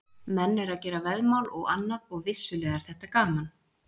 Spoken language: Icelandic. Menn eru að gera veðmál og annað og vissulega er þetta gaman.